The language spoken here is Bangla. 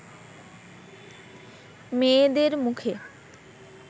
মেয়েদের মুখে